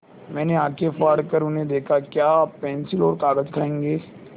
मैंने आँखें फाड़ कर उन्हें देखा क्या आप पेन्सिल और कागज़ खाएँगे